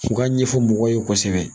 U ka ɲɛfɔ mɔgɔw ye kosɛbɛ.